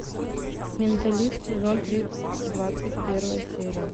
менталист сезон три двадцать первая серия